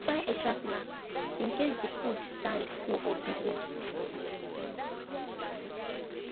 we buy extra snack in case di food stand full or busy